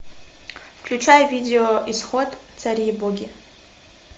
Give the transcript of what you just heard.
включай видео исход цари и боги